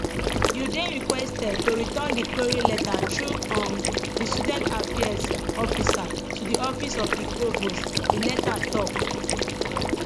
you dey requested to return di query letter thru um di students affairs officer to di office of di provost di letter tok